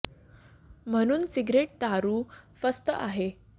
म्हणून सिगारेट दारू फस्त आहे